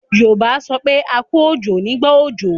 Yorùbá a sọ pé 'A kú òjò' nígbà òjò.